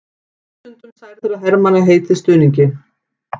Þúsundum særðra hermanna heitið stuðningi